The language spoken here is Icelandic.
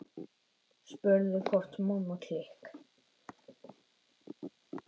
Spurður hvort Mamma klikk!